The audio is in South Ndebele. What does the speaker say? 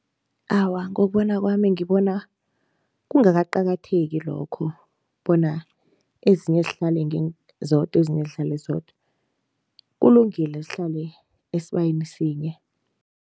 Awa, ngokubona kwami ngibona kungakaqakatheki lokho bona ezinye zihlale zodwa ezinye zihlale zodwa. Kulungile zihlale esibayeni sinye.